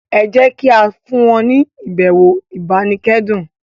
ejẹ kí a fún wọn ni ibẹwò ibanikẹdun